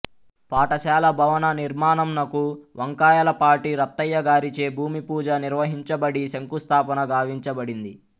పాఠశాల భవన నిర్మాణంనకు వంకాయలపాటి రత్తయ్య గారిచే భూమి పూజ నిర్వహించబడి శంకుస్థాపన గావించబడింది